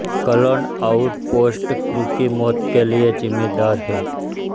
clone outpost crew की मौत के लिए जिम्मेदार है